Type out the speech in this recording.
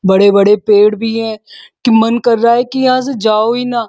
बड़े-बड़े पेड़ भी हैं। की मन कर रहा है की यहाँ से जाओ ही ना।